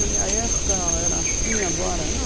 Na minha época era assim, agora não.